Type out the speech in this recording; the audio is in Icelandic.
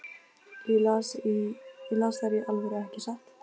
Ég las þær í alvöru, ekki satt?